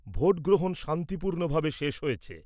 Vote গ্রহণ শান্তিপূর্ণভাবে শেষ হয়েছে।